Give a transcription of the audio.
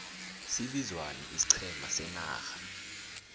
sibizwani ixiqhema senarha